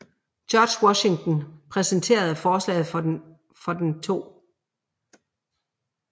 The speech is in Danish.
George Washington præsenterede forslaget for den 2